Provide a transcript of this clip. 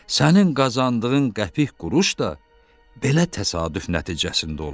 Sənin qazandığın qəpik quruş da belə təsadüf nəticəsində olub.